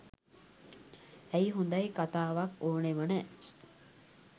ඇයි හොඳයි කතාවක් ඕනම නෑ.